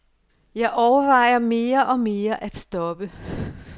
Jeg overvejer mere og mere at stoppe.